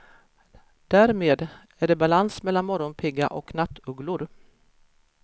Därmed är det balans mellan morgonpigga och nattugglor.